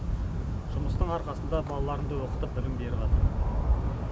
жұмыстың арқасында балаларымды оқытып білім беріватырмын